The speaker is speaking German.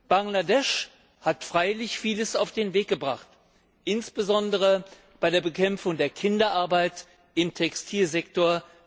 Bangladesch hat freilich vieles auf den Weg gebracht, insbesondere bei der Bekämpfung der Kinderarbeit im Textilsektor.